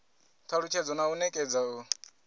talusthedza na u nekedza u